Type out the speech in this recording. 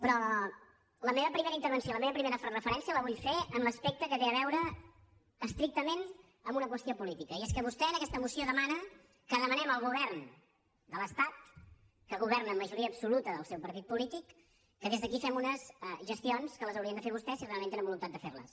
però la meva primera intervenció la meva primera referència la vull fer en l’aspecte que té a veure estrictament amb una qüestió política i és que vostè en aquesta moció demana que demanem al govern de l’estat que governa amb majoria absoluta del seu partit polític que des d’aquí fem unes gestions que les haurien de fer vostès si realment tenen voluntat de fer les